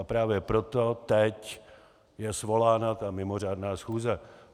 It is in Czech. A právě proto teď je svolána ta mimořádná schůze.